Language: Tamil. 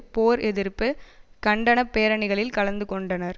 போர் எதிர்ப்பு கண்டன பேரணிகளில் கலந்து கொண்டனர்